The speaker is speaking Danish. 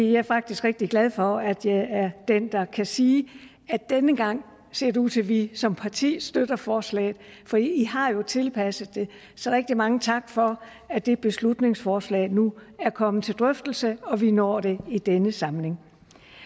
er faktisk rigtig glad for at jeg er den der kan sige at denne gang ser det ud til at vi som parti støtter forslaget for i har jo tilpasset det så rigtig mange tak for at det beslutningsforslag nu er kommet til drøftelse og vi når det i denne samling